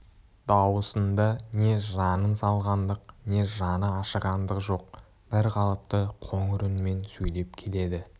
дауысында не жанын салғандық не жаны ашығандық жоқ бір қалыпты қоңыр үнмен сөйлеп келеді